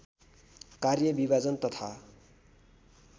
कार्य विभाजन तथा